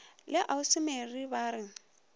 la ausi mary ba re